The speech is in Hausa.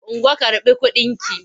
Ungo karɓi kudinki!